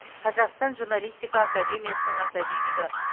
қазақстан журналистика академиясының академигі